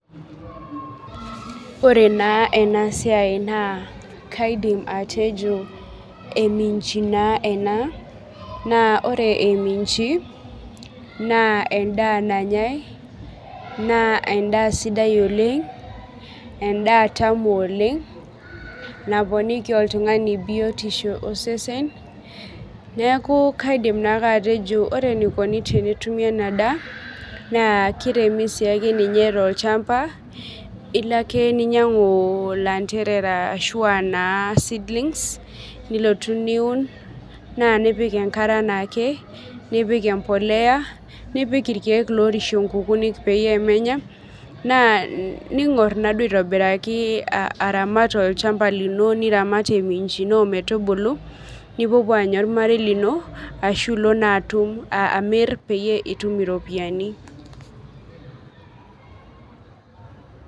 Oree enaa siai naa kaidim atejo eminji naa ena. Naa ore eminji naa edaa nanye naa eda sidai oleng'. Edaa tamu oleng' naponiki oltung'ani biotisho osesen neeku kaidim naa ake atejo ore enaikoni tenetumi inaa daa naa kiremi siibake ninye tolchamba, ilo ake ning'oru ilanterera ashua naa seedlings nilotu niun naa nipik enkare anake nipik emboleya, nipik irkeek loorishie nkukunik peyie menya naa ning'or naaduo aitobiraki aramat olchamba lino niramat eminji no ometubulu ninyanya ormarei lino ashu ilo naa amir pitum iropiani.